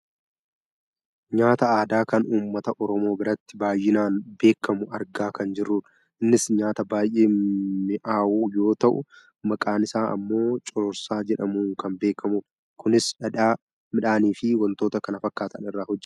nyaata aadaa kan uummata oromoo biratti baayyinaan beekkamu argaa kan jirrudha. innis nyaata baayyee mi'aahu yoo ta'u maqaan isaa ammoo cororsaa jedhamuun kan beekkamudha. kunis dhadhaa, midhaan fi wantoota kana fakkaatan irraa hojjatama.